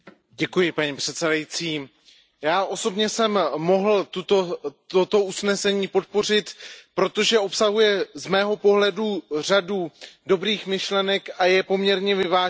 Paní předsedající, já osobně jsem mohl toto usnesení podpořit, protože obsahuje z mého pohledu řadu dobrých myšlenek a je poměrně vyvážené.